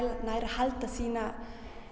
nái að halda sínum